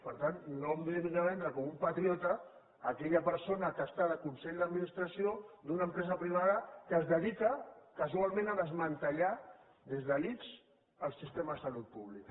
per tant no em vingui aquí a vendre com un patriota aquella persona que està en el consell d’administració d’una empresa privada que es dedica casualment a desmantellar des de l’ics el sistema de salut pública